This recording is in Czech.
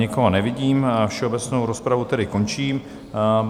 Nikoho nevidím, všeobecnou rozpravu tedy končím.